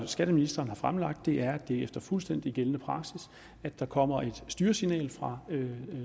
skatteministeren har fremlagt det er efter fuldstændig gældende praksis at der kommer et styresignal fra